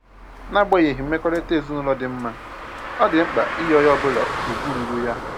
N'agbanyeghị mmekọrịta ezinụlọ dị mma, ọ dị mkpa inye onye ọbụla ugwu ruuru ya